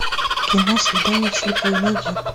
кино свидание в слепую найди